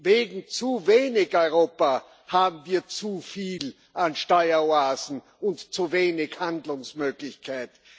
Wegen zu wenig Europa haben wir zu viel an Steueroasen und zu wenig Handlungsmöglichkeit.